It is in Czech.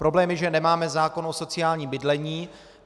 Problém je, že nemáme zákon o sociálním bydlení.